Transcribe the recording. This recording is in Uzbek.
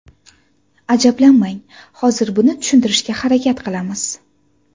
Ajablanmang, hozir buni tushuntirishga harakat qilamiz.